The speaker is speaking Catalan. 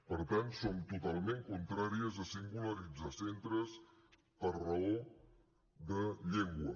per tant som totalment contràries a singularitzar centres per raó de llengua